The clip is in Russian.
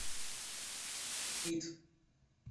кит